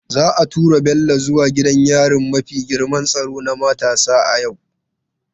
Za a tura Bello zuwa gidan yari mafi girman tsaro na matasa a yau.